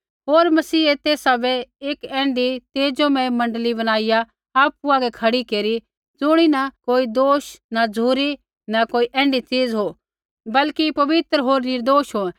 होर मसीहै तेसा बै एक ऐण्ढी तेजोमय मण्डली बनाईया आपु आगै खड़ी केरै ज़ुणीन कोई दोष न झ़ुरी न कोई ऐण्ढी चीज हो बल्कि पवित्र होर निर्दोष हो